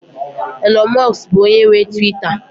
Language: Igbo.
Elon musk bụ onye nwe Tuweeta